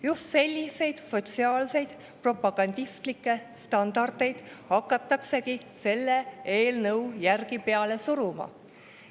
Just selliseid sotsiaalseid propagandistlikke standardeid hakataksegi selle eelnõu järgi peale suruma.